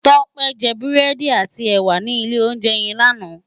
Tope jè búrèdí àtí èwá ni ilé óunjè yèn làná